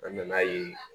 An nana ye